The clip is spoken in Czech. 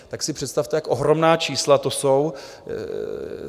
Tak si představte, jak ohromná čísla to jsou.